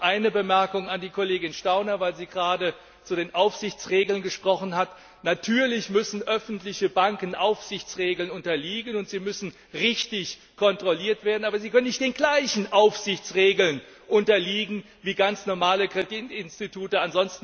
Noch eine Bemerkung an die Kollegin Stauner, weil sie gerade zu den Aufsichtsregeln gesprochen hat Natürlich müssen öffentliche Banken Aufsichtsregeln unterliegen, und sie müssen richtig kontrolliert werden, aber sie können nicht den gleichen Aufsichtsregeln unterliegen wie ganz normale Kreditinstitute.